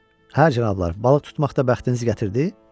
Hər cənablar, balıq tutmaqda bəxtiniz gətirdi?